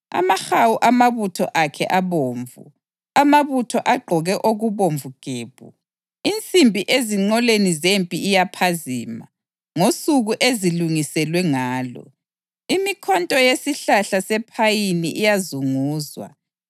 Amahawu amabutho akhe abomvu, amabutho agqoke okubomvu gebhu. Insimbi ezinqoleni zempi iyaphazima ngosuku ezilungiselwe ngalo; imikhonto yesihlahla sephayini iyazunguzwa.